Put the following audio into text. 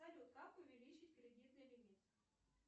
салют как увеличить кредитный лимит